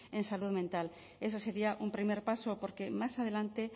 en salud mental eso sería un primer paso porque más adelante